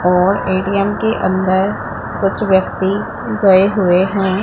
और ए_टी_एम के अंदर कुछ व्यक्ति गए हुए हैं।